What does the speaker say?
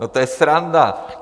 No, to je sranda.